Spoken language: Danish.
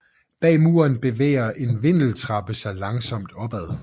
Bag muren bevæger en vindeltrappe sig langsomt opad